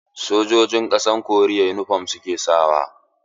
Sojojin ƙasa koriyar yunifom suke sa wa.